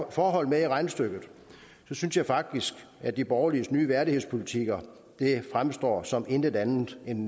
forhold med i regnestykket synes jeg faktisk at de borgerliges nye værdighedspolitikker fremstår som intet andet end